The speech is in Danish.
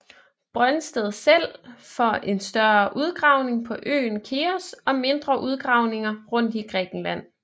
Brøndsted selv for en større udgravning på øen Keos og mindre udgravninger rundt i Grækenland